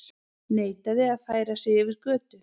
Neitaði að færa sig yfir götu